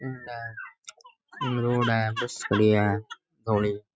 इन इन रोड है बस खड़ी है धोली।